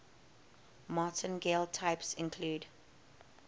martingale types include